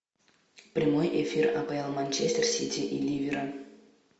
прямой эфир апл манчестер сити и ливера